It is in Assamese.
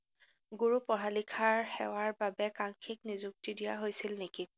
গুৰু পঢ়া-লিখাৰ সেৱাৰবাবে কানচিক নিযুক্তি দিয়া হৈছিল নেকি?